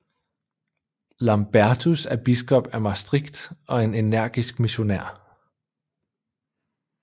Lambertus er biskop af Maastricht og en energisk missionær